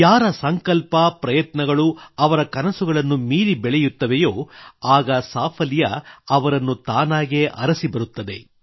ಯಾರದೇ ಸಂಕಲ್ಪ ಪ್ರಯತ್ನಗಳು ಅವರ ಕನಸುಗಳನ್ನು ಮೀರಿ ಬೆಳೆಯುತ್ತವೆಯೋ ಆಗ ಸಫಲತೆ ಆತನ ಬಳಿ ತಾನಾಗೇ ಅರಸಿ ಬರುತ್ತದೆ